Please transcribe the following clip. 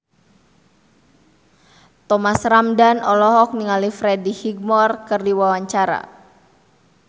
Thomas Ramdhan olohok ningali Freddie Highmore keur diwawancara